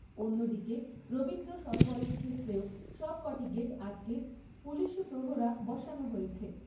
অন্যদিকে, রবীন্দ্র সরোবরের ক্ষেত্রেও, সবকটি গেট আটকে পুলিশী প্রহরা বসানো হয়েছে।